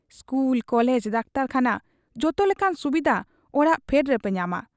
School college, ᱰᱟᱠᱛᱚᱨᱠᱷᱟᱱᱟ, ᱡᱚᱛᱚ ᱞᱮᱠᱟᱱ ᱥᱩᱵᱤᱫᱷᱟ ᱚᱲᱟᱜ ᱯᱷᱮᱰ ᱨᱮᱯᱮ ᱧᱟᱢᱟ ᱾